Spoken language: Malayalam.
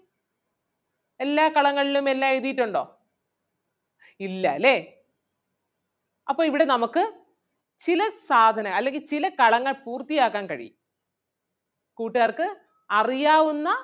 എല്ലാ കളങ്ങളിലും എല്ലാം എഴുതിയിട്ടുണ്ടോ ഇല്ലാല്ലേ? അപ്പൊ ഇവിടെ നമുക്ക് ചില സാധനം അല്ലെങ്കിൽ ചില കളങ്ങൾ പൂർത്തിയാക്കാൻ കഴിയും കൂട്ടുകാർക്ക് അറിയാവുന്ന